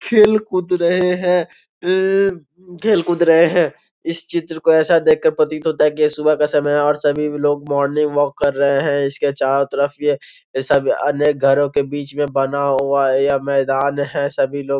खेल कूद रहे हैं येयेये खेल कूद रहे हैं इस चित्र को ऐसा देख के प्रतीत होता है कि ये सुबह का समय है और सभी लोग मोर्निंग वॉक कर रहे हैं इसके चारो तरफ ये ये सब अनेक घरों के बीच में बना हुआ है यह मैदान है सभी लोग --